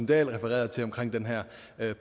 dahl refererede til omkring den her